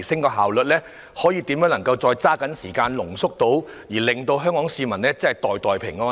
如何能夠把所需時間濃縮，讓香港市民可以"袋袋平安"？